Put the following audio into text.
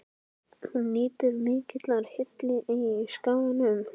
Hún nýtur mikillar hylli á Skaganum.